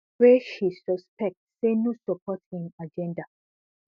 wey she suspect say no support im agenda